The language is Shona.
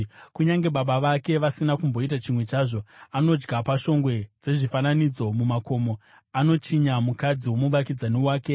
(kunyange baba vake vasina kumboita chimwe chazvo): “Anodya pashongwe dzezvifananidzo mumakomo. Anochinya mukadzi womuvakidzani wake.